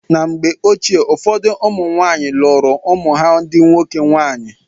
Na mgbe ochie, ụfọdụ ụmụ nwaanyị lụụrụ ụmụ ha ndị nwoke nwaanyị.